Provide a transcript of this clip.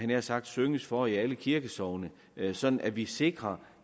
nær sagt synges for i alle kirkesogne sådan at vi sikrer